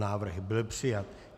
Návrh byl přijat.